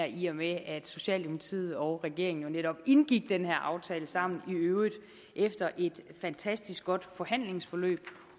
i og med at socialdemokratiet og regeringen jo netop indgik den her aftale sammen i øvrigt efter et fantastisk godt forhandlingsforløb